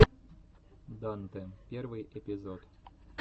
дантэ первый эпизод